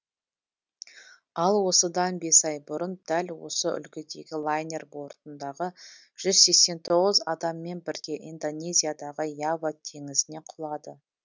ал осыдан бес ай бұрын дәл осы үлгідегі лайнер бортындағы жүз сексен тоғыз адаммен бірге индонезиядағы ява теңізіне құлады